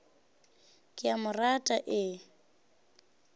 ke a mo rata e